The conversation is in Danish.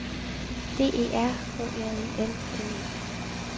D E R H J E M M E